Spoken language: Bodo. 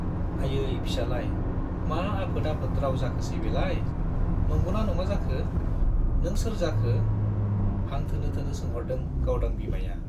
आयै फिसालाय, मा आफोद आफोद राव जाखोसै बेलाय ! नंगौना नङा जाखो ? नों सोर जाखो ? हां थोनो थोनो सोंहरदों गावदां बिमाया।